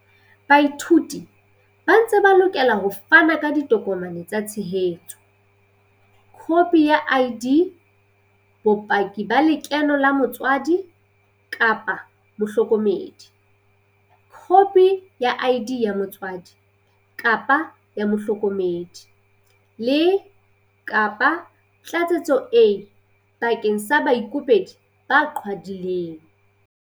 Baithuti ba ntse ba lokela ho fana ka ditokomane tsa tshehetso, khopi ya ID, bopaki ba lekeno la motswadi-mohloko medi, khopi ya ID ya motswadi-mohloko medi, le, kapa Tlatsetso A bakeng sa baikopedi ba qhwadileng.